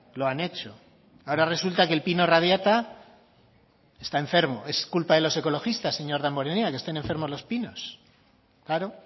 lo han hecho ahora resulta que el pino radiata está enfermo es culpa de los ecologistas señor damborenea que estén enfermos los pinos claro